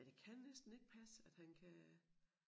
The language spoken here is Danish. Men det kan næsten ikke passe at han kan